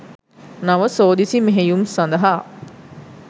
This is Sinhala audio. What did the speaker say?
නව සෝදිසි මෙහෙයුම් සඳහා